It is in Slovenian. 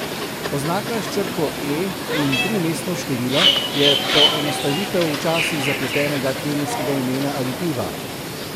Oznaka s črko E in trimestno številko je poenostavitev včasih zapletenega kemijskega imena aditiva.